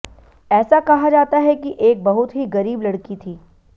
ऐसा कहा जाता है कि एक बहुत ही गरीब लड़की थी